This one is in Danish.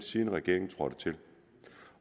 siden regeringen trådte til